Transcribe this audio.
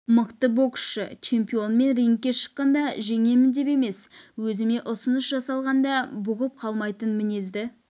мықты боксшы чемпион мен рингке шыққанда жеңемін деп емес өзіме ұсыныс жасағалғанда бұғып қалмайтын мінезді